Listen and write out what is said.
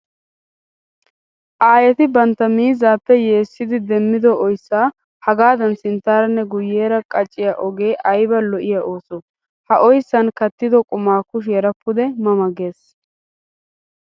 Aayetti bantta miizzappe yeessiddi demiddo oyssa hagaadan sinttaaranne guyeera qacciya ogee aybba lo'iya ooso! Ha oyssan kattiddo qumay kushiyaara pude ma ma geesi!